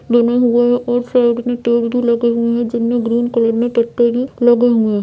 बने हुए है एक साइड में पेड़ भी लगे हुए है जिनमें ग्रीन कलर में पत्ते भी लगे हुए है।